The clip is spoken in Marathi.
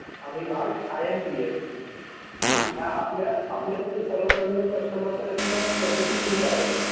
आणि लास्ट आयएमपीएस ह्या आपल्यासारख्या सर्वसामान्य कस्टमर साठी पद्धती खुल्या आहेत.